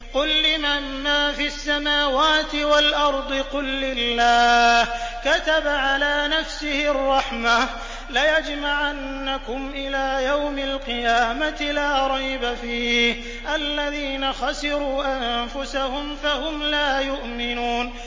قُل لِّمَن مَّا فِي السَّمَاوَاتِ وَالْأَرْضِ ۖ قُل لِّلَّهِ ۚ كَتَبَ عَلَىٰ نَفْسِهِ الرَّحْمَةَ ۚ لَيَجْمَعَنَّكُمْ إِلَىٰ يَوْمِ الْقِيَامَةِ لَا رَيْبَ فِيهِ ۚ الَّذِينَ خَسِرُوا أَنفُسَهُمْ فَهُمْ لَا يُؤْمِنُونَ